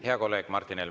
Hea kolleeg Martin Helme …